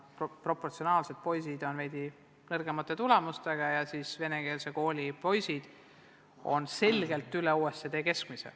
Proportsionaalselt on põhikooli poisid veidi nõrgemate tulemustega, aga ka venekeelse kooli poisid on selgelt üle OECD keskmise.